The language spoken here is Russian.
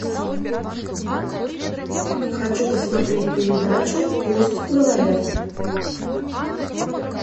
хочу посмотреть передачу пусть говорят